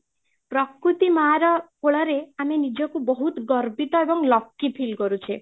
ପ୍ରକୃତି ମାଁ ର କୋଳ ରେ ଆମେ ନିଜକୁ ବହୁତ ଗର୍ବିତ ଏବଂ lucky feel କରୁଛେ